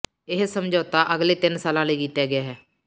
ਇਹ ਸਮਝੌਤਾ ਅਗਲੇ ਤਿੰਨ ਸਾਲਾਂ ਲਈ ਕੀਤਾ ਗਿਆ ਹੈ